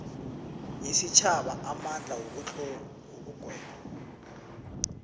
yesitjhaba amandla wokugweba